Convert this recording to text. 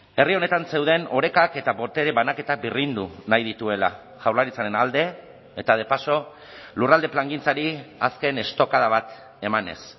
herri honetan zeuden orekak eta botere banaketa birrindu nahi dituela jaurlaritzaren alde eta de paso lurralde plangintzari azken estokada bat emanez